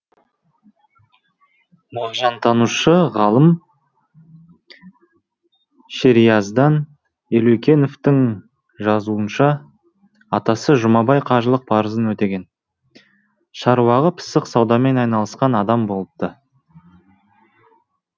мағжантанушы ғалым шериаздан елеукеновтың жазуынша атасы жұмабай қажылық парызын өтеген шаруаға пысық саудамен айналысқан адам болыпты